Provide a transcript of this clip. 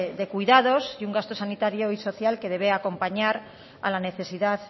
de cuidados y un gasto sanitario y social que debe acompañar a la necesidad